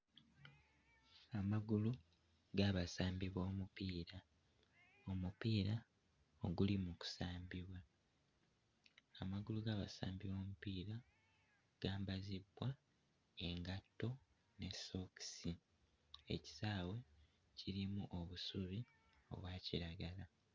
Amagulu g'abasambi b'omupiira, omupiira oguli mu kusambibwa, amagulu g'abasambi b'omupiira gambazibbwa engatto ne sookisi, ekisaawe kirimu obusubi obwa kiragala.